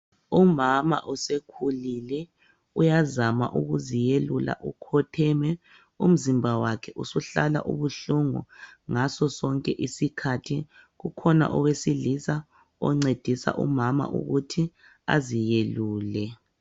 Umama usekhulile, uyazama ukuziyelula ukhotheme. Umzimba wakhe usuhlala ubuhlungu ngaso sonke isikhathi, ukhona owesilisa oncedisa umama ukuthi aziyelule.